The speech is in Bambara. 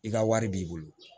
I ka wari b'i bolo